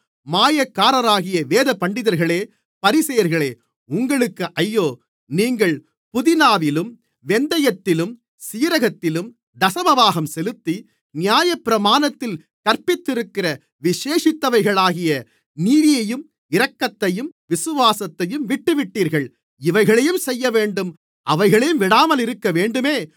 மாயக்காரர்களாகிய வேதபண்டிதர்களே பரிசேயர்களே உங்களுக்கு ஐயோ நீங்கள் புதினாவிலும் வெந்தயத்திலும் சீரகத்திலும் தசமபாகம் செலுத்தி நியாயப்பிரமாணத்தில் கற்பித்திருக்கிற விசேஷித்தவைகளாகிய நீதியையும் இரக்கத்தையும் விசுவாசத்தையும் விட்டுவிட்டீர்கள் இவைகளையும் செய்யவேண்டும் அவைகளையும் விடாமலிருக்கவேண்டுமே